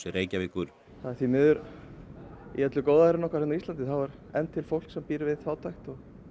Reykjavíkur það er því miður í öllu góðærinu hérna á íslandi þá er enn til fólk sem býr við fátækt